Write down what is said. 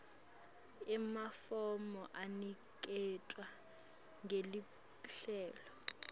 emafomu aniketwa ngeluhlelo